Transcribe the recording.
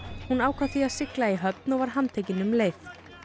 hún ákvað því að sigla í höfn og var handtekin um leið